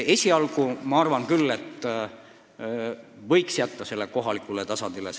Esialgu ma arvan küll, et võiks otsused jätta kohalikule tasandile.